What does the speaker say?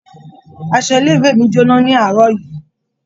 Aṣọ ilé-ìwé mi jóná ní àárọ̀ yìí.